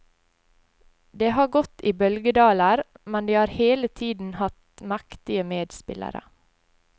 Det har gått i bølgedaler, men de har hele tiden hatt mektige medspillere.